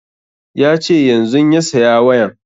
Ya ce yanzun ya saya wayan